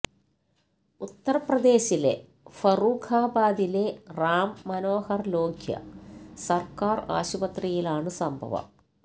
ഉത്തർപ്രദേശിലെ ഫറൂഖാബാദിലെ റാം മനോഹർ ലോഹ്യ സർക്കാർ ആശുപത്രിയിലാണ് സംഭവം